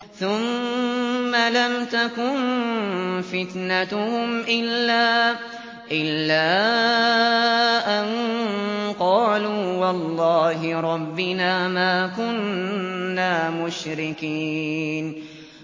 ثُمَّ لَمْ تَكُن فِتْنَتُهُمْ إِلَّا أَن قَالُوا وَاللَّهِ رَبِّنَا مَا كُنَّا مُشْرِكِينَ